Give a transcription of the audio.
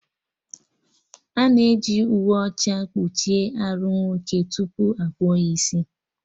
Ana eji uwe ọcha kpuchie arụ nwoke tupu akpụọ ya isi